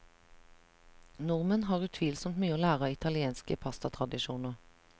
Nordmenn har utvilsomt mye å lære av italienske pastatradisjoner.